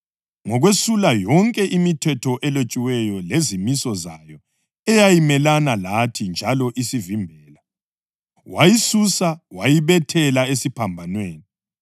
ngokwesula yonke imithetho elotshiweyo lezimiso zayo eyayimelane lathi njalo isivimbela. Wayisusa, wayibethela esiphambanweni.